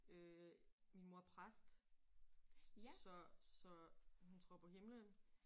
Øh min mor er præst så så hun tror på himlen